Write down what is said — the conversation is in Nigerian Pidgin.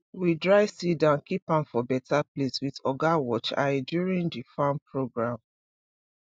we dry seed and keep am for better place with oga watch eye during the farm program